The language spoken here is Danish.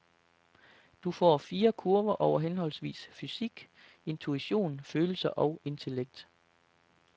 Du får fire kurver over henholdsvis fysik, intuition, følelser og intellekt.